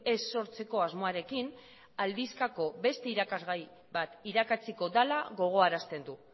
ez sortzeko asmoarekin aldizkako beste irakasgai bat irakatsiko dela gogoarazten du